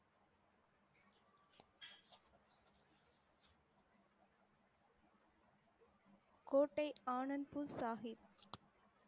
கோட்டை ஆனந்த்பூர் சாஹிப்